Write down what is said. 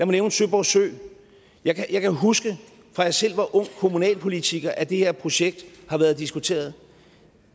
nævne søborg sø jeg kan husker fra jeg selv var ung kommunalpolitiker at det her projekt har været diskuteret